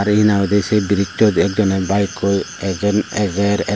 te he nang hoidi say bridgesot ek jone bike koi ajer.